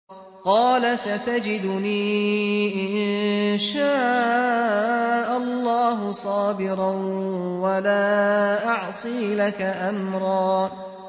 قَالَ سَتَجِدُنِي إِن شَاءَ اللَّهُ صَابِرًا وَلَا أَعْصِي لَكَ أَمْرًا